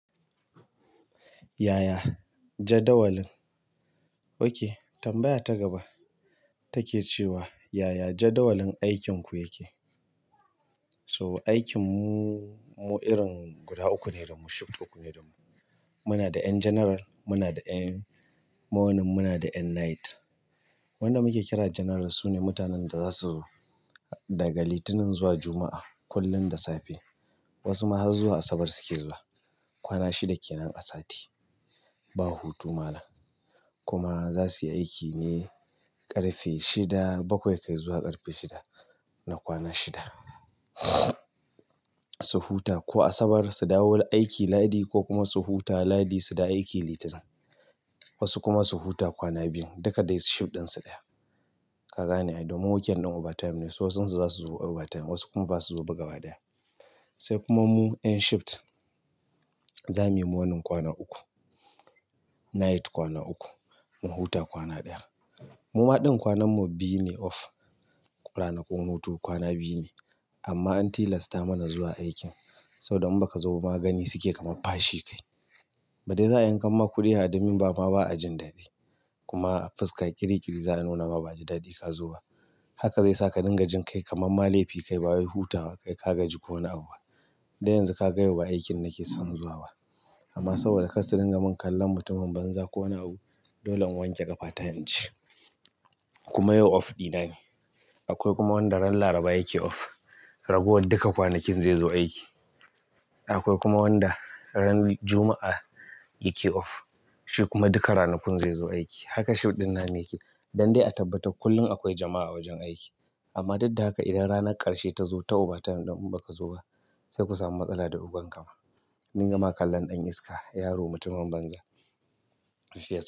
Yaya jadawalin, oke tambaya ta gaba take cewa yaya jadawalin aikinku yake? So aikin mu irin guda uku ne da mu, shift uku ne da mu. Muna da 'ƴan general, muna da 'ƴan morning, muna da 'ƴan night. Wanda muke kira general su ne mutanen da za su zo daga Litinin zuwa Juma'a kullum da safe. Wasu ma har zuwa Asabar suke zuwa. Kwana shida kenan a sati. Ba hutu mana. Kuma za su yi aiki ne ƙarfe shida bakwai kai zuwa ƙarfe shida na kwana shida. Su huta ko Asabar su dawo aiki Lahadi ko kuma su huta Lahadi su da aiki Litinin. Wasu kuma su huta kwana biyun duka dai shift ɗin su ɗaya. Kaga ne, ai domin weekend ɗin overtime ne, sai wasu za su zo overtime wasu kuma baza su zo ba gaba ɗaya. Sai kuma mu 'ƴan shift za mu yi morning kwana uku, night kwana uku, mu huta kwana ɗaya. Muma ɗin kwanan mu biyu ne off, ranakun hutu kwana biyu ne amma an tilasta mana zuwa aikin saboda in baka zo ba ma gani suke kamar fashi kai. Ba dai za a yanka ma kuɗi admin ba amma ba a jin daɗi. Kuma a fuska kirikiri za a nuna ma ba a ji daɗi ka zo ba. Haka zai saka dinga jin kai kamar ma laifi kai bawai hutawa kai ka gaji ko wani abu. Don yanzu ka ga yau ba aikin nake son zuwa ba. Amma saboda kar su dinga min kallon mutumin banza ko wani abu, dole in wanke ƙafa ta inje. Kuma yau off ɗina ne. Akwai kuma wanda ran Laraba yake off, ragowar duka kwanakin zai zo aiki. Akwai kuma wanda ran Juma'a yake off, shi kuma duka ranakun zai zo aiki. Hala shift ɗin namu yake don dsi a tabbatar kullum akwai jama'a a wajen aiki amma duk da haka idan ranar ƙarshe ta zo ta overtime ɗin in baka zo ba, sai ku samu matsala da oganka ma. A dinga ma kallon ɗan iska yaro mutumin banza.